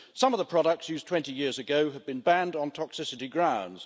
Some of the products used 20 years ago have been banned on toxicity grounds.